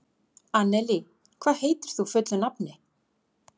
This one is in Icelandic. Annelí, hvað heitir þú fullu nafni?